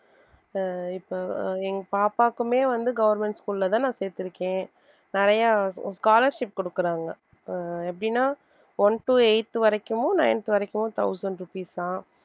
ஆஹ் இப்ப எங்க பாப்பாக்குமே வந்து government school லதான் நான் சேர்த்திருக்கேன் நிறைய scholarship கொடுக்குறாங்க. ஆஹ் எப்படின்னா one to eighth வரைக்கும் ninth வரைக்கும் thousand rupees சாம்